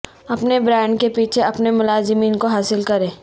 اپنے برانڈ کے پیچھے اپنے ملازمین کو حاصل کریں